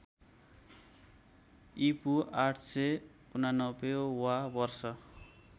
ईपू ८८९ वा वर्ष